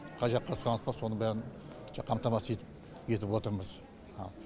қай жаққа сұраныс бар соның бәрін қамтамасыз етіп етіп отырмыз ал